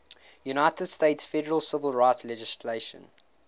united states federal civil rights legislation